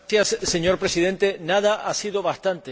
Señor Presidente, nada ha sido bastante.